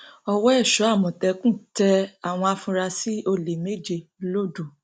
ọwọ èso àmọtẹkùn tẹ àwọn afurasí olè méje lodò